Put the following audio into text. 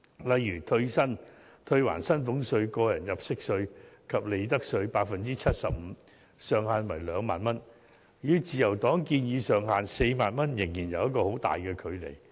例如退還薪俸稅、個人入息稅及利得稅 75%， 上限為 20,000 元，與自由黨建議的上限 40,000 元仍有很大距離。